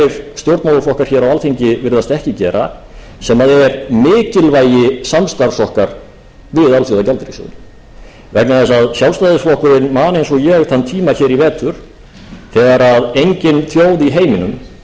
stjórnmálaflokkar hér á alþingi virðast ekki gera sem er mikilvægi samstarfs okkar við alþjóðagjaldeyrissjóðinn vegna þess að sjálfstæðisflokkurinn man eins og ég þann tíma hér í vetur þegar engin þjóð í heiminum